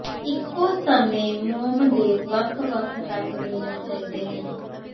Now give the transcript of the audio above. ਇਕੋ ਸਮੇਂ ਮੋਮ ਦੇ ਵੱਖ ਵੱਖ ਰੰਗ ਮਿਲਣੇ ਚਾਹੀਦੇ ਹਨ